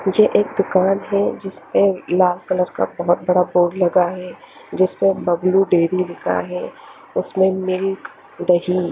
ये एक दुकान हैं जिसपे लाल कलर का बहुत बड़ा बोर्ड लगा हैं जिसपे बब्लू डेरी लिखा हैं उसमे दही--